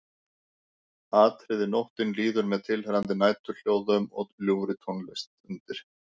Atriði Nóttin líður með tilheyrandi næturhljóðum og ljúfri tónlist undir.